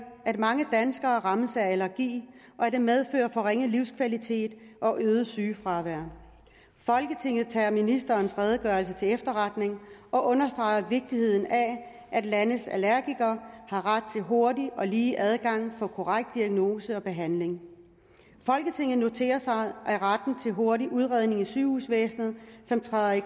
at mange danskere rammes af allergi og at det medfører forringet livskvalitet og øget sygefravær folketinget tager ministerens redegørelse til efterretning og understreger vigtigheden af at landets allergikere har ret til hurtig og lige adgang for korrekt diagnose og behandling folketinget noterer sig at retten til hurtig udredning i sygehusvæsenet som træder i